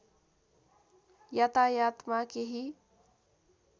यातायातमा केही